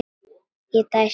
Ég dæsti.